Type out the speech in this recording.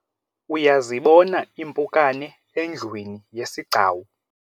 uyazibona impukane endlwini yesigcawu?